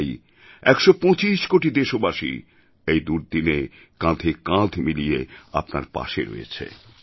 চাই ১২৫ কোটি দেশবাসী এই দুর্দিনে কাঁধে কাঁধ মিলিয়ে আপনার পাশে রয়েছে